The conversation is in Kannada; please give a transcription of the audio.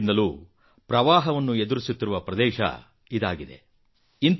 ದಶಕಗಳಿಂದಲೂ ಪ್ರವಾಹದ ಸಮಸ್ಯೆಯಿಂದ ಓಲಾಡುತ್ತಿರುವ ಪ್ರದೇಶ ಇದಾಗಿದೆ